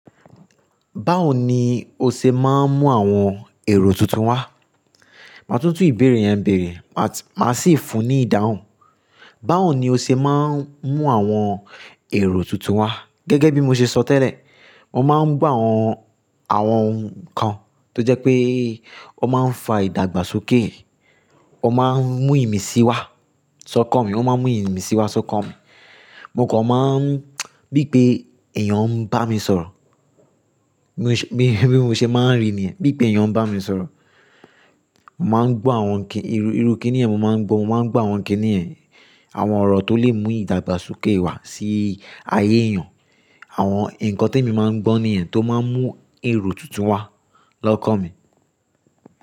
Báwo ni o ṣe máa ń mú àwọn èrò tuntun wá? Màá tún tún ìbéèrè yẹn bèrè, màá sì fun ní ìdáhùn. Báwo ni o ṣe máa ń mú àwọn èrò tuntun wá? Gẹ́gẹ́ bí mo ṣe sọ tẹ́lẹ̀, mo máa ń gbọ́ àwọn, àwọn nǹkan tó jẹ́ pé ó máa ń fa ìdàgbàsókè, ó máa ń mú ìmísí wá sọ́kan mi, ó máa ń mú ìmísí wá sọ́kan mi. Mo kan máa ń bí i pé èèyàn ń bá mi sọ̀rọ̀. Bí mo ṣe máa ń ri niyẹ́n, bí i pé èèyàn ń bá mi sọ̀rọ̀. Mò máa ń gbọ́ àwọn ìrukìnní yẹn, mo máa ń gbọ́, mo máa ń gbọ́ àwọn kìnní yẹ̀n, àwọn ọ̀rọ̀ tó lè mú ìdàgbàsókè wá sí ayé èèyàn. Àwọn nǹkan témi máa ń gbọ́ nìyẹn tó máa ń mú èrò tuntun wá lọ́kàn mi.